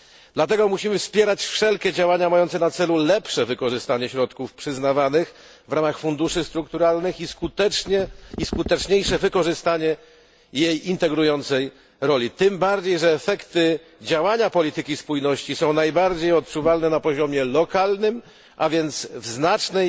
Dlatego musimy wspierać wszelkie działania mające na celu lepsze wykorzystanie środków przyznawanych w ramach funduszy strukturalnych i skuteczniejsze wykorzystanie jej integrującej roli, tym bardziej, że efekty działania polityki spójności są najbardziej odczuwalne na poziomie lokalnym, a więc w znacznej